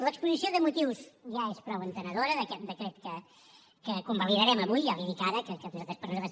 l’exposició de motius ja és prou entenedora d’aquest decret que convalidarem avui ja li dic ara que per nosaltres